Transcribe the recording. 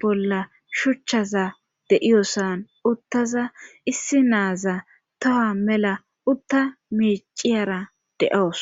bolla shuchchaza deiyosan uttaza issi naaza toha mela utta miiciyara de7oos.